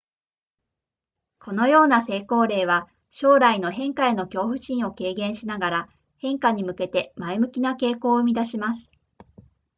このような成功例は将来の変化への恐怖心を軽減しながら変化に向けて前向きな傾向を生み出します